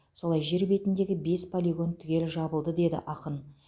солай жер бетіндегі бес полигон түгел жабылды деді ақын